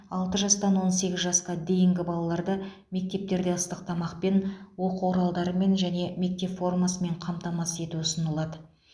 алты жастан он сегіз жасқа дейінгі балаларды мектептерде ыстық тамақпен оқу құралдарымен және мектеп формасымен қамтамасыз ету ұсынылады